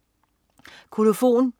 Kolofon